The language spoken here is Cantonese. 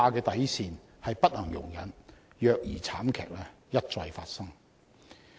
底線是不能容忍虐兒慘劇一再發生。